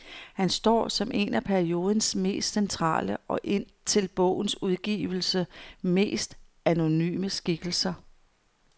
Han står som en af periodens mest centrale og, indtil bogens udgivelse, mest anonyme skikkelser.